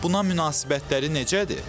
Buna münasibətləri necədir?